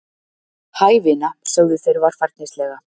Hæ, vina, sögðu þeir varfærnislega.